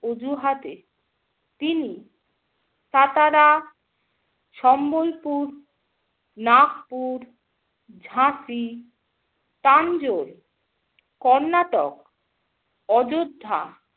অজুহাতে তিনি কাতারা, সম্বলপুর, নাগপুর, ঝাসি, তাঞ্জোর, কর্ণাটক, অযোধ্যা